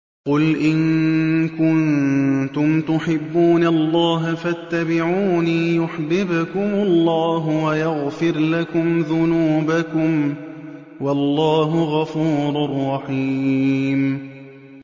قُلْ إِن كُنتُمْ تُحِبُّونَ اللَّهَ فَاتَّبِعُونِي يُحْبِبْكُمُ اللَّهُ وَيَغْفِرْ لَكُمْ ذُنُوبَكُمْ ۗ وَاللَّهُ غَفُورٌ رَّحِيمٌ